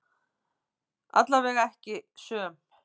Allavega ekki söm.